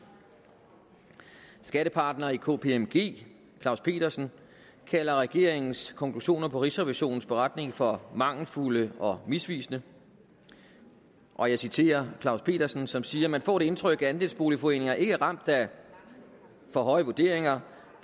skattepartner i kpmg claus pedersen kalder regeringens konklusioner på rigsrevisionens beretning for mangelfulde og misvisende og jeg citerer claus pedersen som siger man får det indtryk at andelsboligforeninger ikke er ramt af for høje vurderinger